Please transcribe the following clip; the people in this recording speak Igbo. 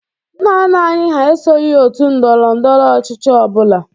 Nna nna anyị hà esoghi òtù ndọrọ ndọrọ ọchịchị ọ bụla.